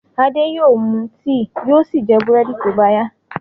Ade yóò mú tíì yóò sì jẹ búrẹ́dì tó bá yá.